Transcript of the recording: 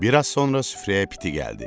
Bir az sonra süfrəyə piti gəldi.